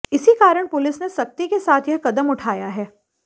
इसी कारण पुलिस ने सख्ती के साथ यह कदम उठाया है